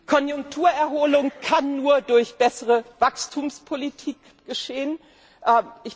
Konjunkturerholung kann nur durch bessere Wachstumspolitik erfolgen.